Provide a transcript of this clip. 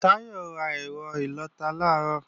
Táyọ̀ ra ẹ̀rọ ìlọta làárọ̀